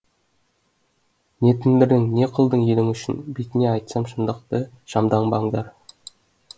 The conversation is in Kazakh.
не тындырдың не қылдың елің үшін бетіне айтсам шындықты шамданбаңдар